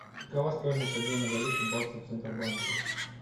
какова стоимость обмена валюты баксов в центробанке